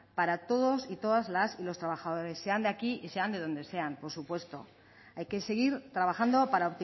para todos las y los trabajadores sean de aquí y sean de donde sean por supuesto hay que seguir trabajando para